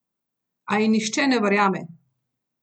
A ji nihče ne verjame!